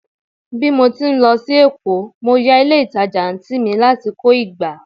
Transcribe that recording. bi mo ti n lo sí Èkó, mo ya ilé ìtajà anti mi lati ko ìgbá